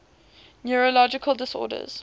neurological disorders